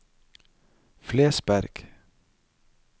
Flesberg